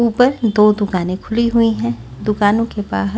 ऊपर दो दुकानें खुली हुई हैं दुकानों के बाहर--